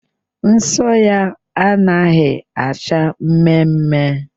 Nsọ ya anaghị acha mmemme